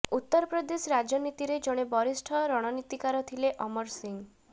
ଉତ୍ତର ପ୍ରଦେଶ ରାଜନୀତିରେ ଜଣେ ବରିଷ୍ଠ ରଣନୀତିକାର ଥିଲେ ଅମର ସିଂ